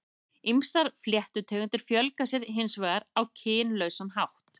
Ýmsar fléttutegundir fjölga sér hins vegar á kynlausan hátt.